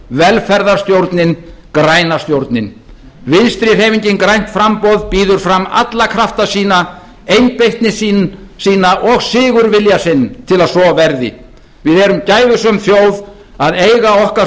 velferðarstjórnin græna stjórnin vinstri hreyfingin grænt framboð býður fram alla krafta sína einbeitni sína og sigurvilja sinn til að svo verði við erum gæfusöm þjóð að eiga okkar